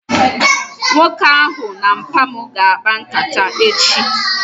Nwoke ahụ na mpa mu ga akpa nkata echi